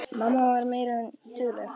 Mamma var meira en dugleg.